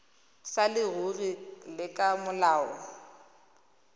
sa leruri le ka molao